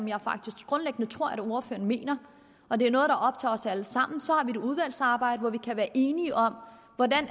jeg faktisk tror at ordføreren mener og det er noget der optager os alle sammen så har et udvalgsarbejde hvor vi kan være enige om